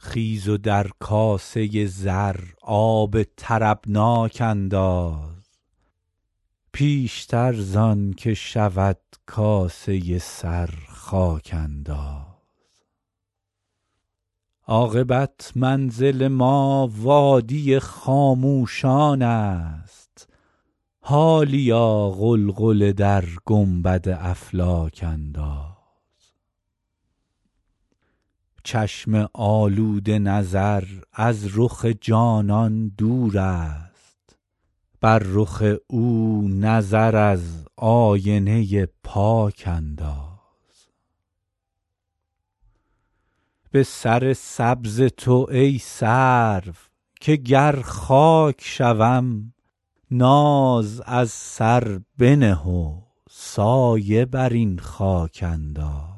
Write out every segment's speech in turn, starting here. خیز و در کاسه زر آب طربناک انداز پیشتر زان که شود کاسه سر خاک انداز عاقبت منزل ما وادی خاموشان است حالیا غلغله در گنبد افلاک انداز چشم آلوده نظر از رخ جانان دور است بر رخ او نظر از آینه پاک انداز به سر سبز تو ای سرو که گر خاک شوم ناز از سر بنه و سایه بر این خاک انداز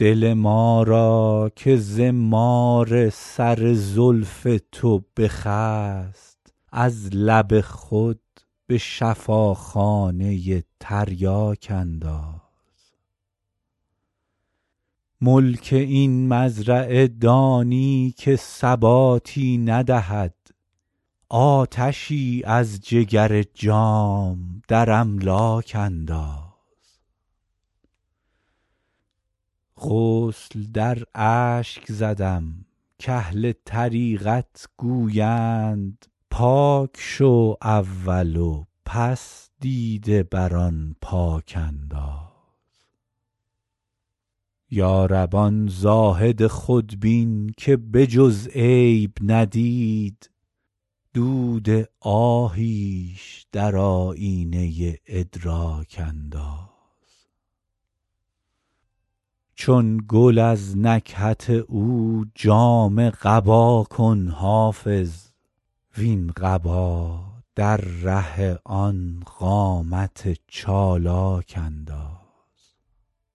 دل ما را که ز مار سر زلف تو بخست از لب خود به شفاخانه تریاک انداز ملک این مزرعه دانی که ثباتی ندهد آتشی از جگر جام در املاک انداز غسل در اشک زدم کاهل طریقت گویند پاک شو اول و پس دیده بر آن پاک انداز یا رب آن زاهد خودبین که به جز عیب ندید دود آهیش در آیینه ادراک انداز چون گل از نکهت او جامه قبا کن حافظ وین قبا در ره آن قامت چالاک انداز